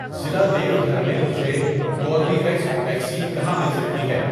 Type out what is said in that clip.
ضلع دیوگھر میں مجھے کوربیویکس ویکسین کہاں مل سکتی ہے؟